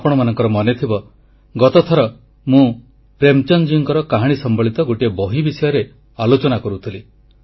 ଆପଣମାନଙ୍କର ମନେଥିବ ଗତଥର ମୁଁ ପ୍ରେମଚନ୍ଦଜୀଙ୍କର କାହାଣୀ ସମ୍ବଳିତ ଗୋଟିଏ ବହି ବିଷୟରେ ଆଲୋଚନା କରୁଥିଲି